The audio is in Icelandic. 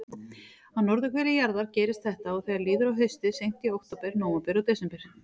Á norðurhveli jarðar gerist þetta þegar líður á haustið, seint í október, nóvember og desember.